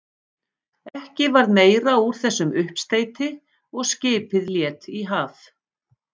Ekki varð meira úr þessum uppsteyti og skipið lét í haf.